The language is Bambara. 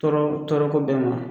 Tɔɔrɔ tɔɔrɔ ko bɛɛ ma